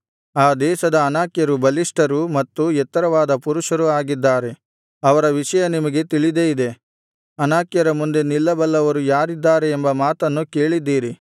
ಆ ದೇಶದ ಅನಾಕ್ಯರು ಬಲಿಷ್ಠರು ಮತ್ತು ಎತ್ತರವಾದ ಪುರುಷರು ಆಗಿದ್ದಾರೆ ಅವರ ವಿಷಯ ನಿಮಗೆ ತಿಳಿದೇ ಇದೆ ಅನಾಕ್ಯರ ಮುಂದೆ ನಿಲ್ಲಬಲ್ಲವರು ಯಾರಿದ್ದಾರೆ ಎಂಬ ಮಾತನ್ನು ಕೇಳಿದ್ದೀರಿ